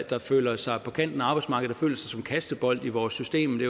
der føler sig på kanten af arbejdsmarkedet og føler sig som kastebold i vores system det